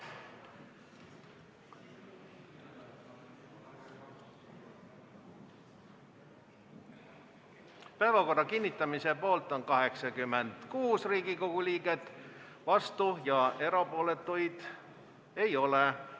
Hääletustulemused Päevakorra kinnitamise poolt on 86 Riigikogu liiget, vastuolijaid ja erapooletuid ei ole.